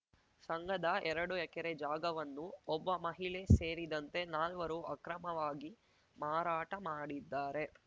ಸಂಘದ ಎರಡು ಎಕರೆ ಜಾಗವನ್ನು ಒಬ್ಬ ಮಹಿಳೆ ಸೇರಿದಂತೆ ನಾಲ್ವರು ಅಕ್ರಮವಾಗಿ ಮಾರಾಟ ಮಾಡಿದ್ದಾರೆ